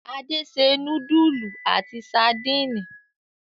Ade se núdúlù àti sadínì.